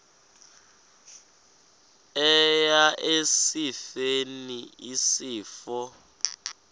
eya esifeni isifo